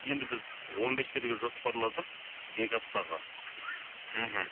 енді біз он бес жерге жоспарладық екі аптаға мхм